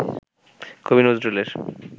কবি নজরুলের